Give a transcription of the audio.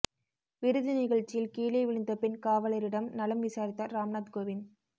விருது நிகழ்ச்சியில் கீழே விழுந்த பெண் காவலரிடம் நலம் விசாரித்தாா் ராம்நாத் கோவிந்த்